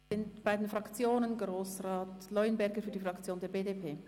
Wir kommen zu den Fraktionen, zuerst zu Grossrat Leuenberger für die BDP.